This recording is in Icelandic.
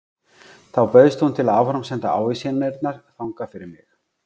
Þá bauðst hún til að áframsenda ávísanirnar þangað fyrir mig.